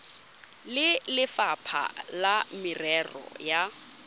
le lefapha la merero ya